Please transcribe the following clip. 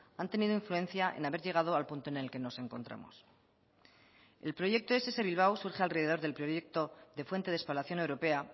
han tenido influencia en haber llegado al punto en el que nos encontramos el proyecto ess bilbao surge a alrededor del proyecto de fuente de espalación europea